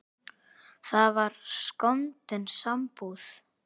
Það var skondin sambúð.